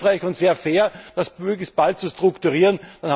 Es wäre hilfreich und sehr fair, das möglichst bald zu strukturieren.